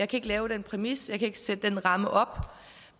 kan lægge den præmis jeg kan ikke sætte den ramme op